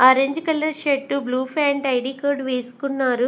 Orange colour shirt blue pant ID card వేసుకున్నారు.